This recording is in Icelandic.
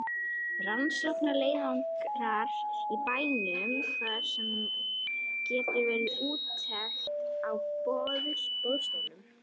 Rannsóknarleiðangrar í bænum þar sem gerð var úttekt á boðstólum.